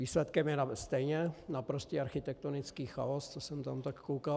Výsledkem je stejně naprostý architektonický chaos, co jsem tam tak koukal.